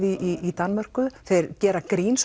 í Danmörku þeir gera grín